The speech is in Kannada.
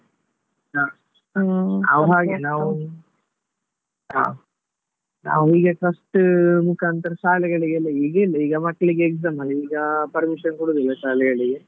ಹ ನಾವು ಹ ನಾವು ಈಗ first ಮುಖಾಂತರ ಶಾಲೆಗಳಿಗೆಲ್ಲ ಈಗ ಇಲ್ಲ ಈಗ ಮಕ್ಳಿಗೆ exam ಅಲ್ಲ ಈಗ permission ಕೊಡುದಿಲ್ಲ ಶಾಲೆಗಳಿಗೆ.